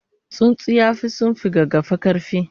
tsuntsu yafi sunfi gaggafa karfi?